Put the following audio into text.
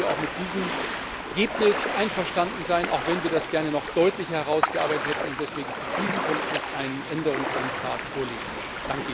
Insofern können wir auch mit diesem Ergebnis einverstanden sein, auch wenn wir das gerne noch deutlicher herausgearbeitet hätten und deswegen zu diesem Punkt noch einen Änderungsantrag vorlegen werden.